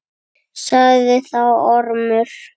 Sagði þá Ormur: